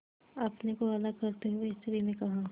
अपने को अलग करते हुए स्त्री ने कहा